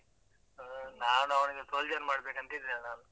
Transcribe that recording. ಹ್ಮ್ ನಾನ್ ಅವ್ನಿಗೆ, soldier ಮಾಡ್ಬೇಕಂತ ಇದ್ದೇನೆ ನಾನು.